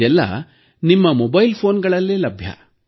ಇದೆಲ್ಲ ನಿಮ್ಮ ಮೊಬೈಲ್ ಫೋನ್ನಲ್ಲೇ ಲಭ್ಯ